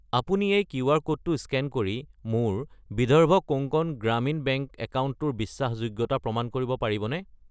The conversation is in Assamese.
আপুনি এই কিউআৰ ক'ডটো স্কেন কৰি মোৰ বিদৰ্ভ কোংকণ গ্ৰামীণ বেংক একাউণ্টটোৰ বিশ্বাসযোগ্যতা প্ৰমাণ কৰিব পাৰিবনে?